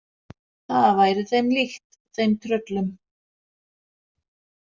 Það væri þeim líkt, þeim tröllum.